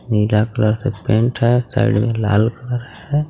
नीला colour से paint है है साइड में लाल कलर है.